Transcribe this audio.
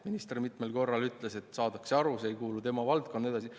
Minister mitmel korral ütles, et saadakse aru, et see ei kuulu tema valdkonda ja nii edasi.